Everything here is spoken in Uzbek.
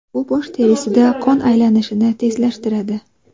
Bu bosh terisida qon aylanishini tezlashtiradi.